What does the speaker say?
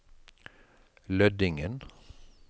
Lødingen